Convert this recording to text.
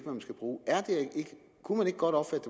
man skal bruge kunne man ikke godt opfatte